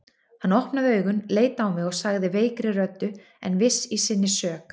Hann opnaði augun, leit á mig og sagði veikri röddu en viss í sinni sök